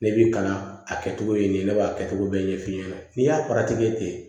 Ne bi kalan a kɛcogo ye nin ye ne b'a kɛcogo bɛɛ ɲɛfɔ ɲɛna n'i y'a ten